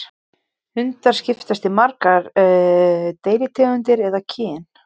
Hundar skiptast í margar deilitegundir eða kyn.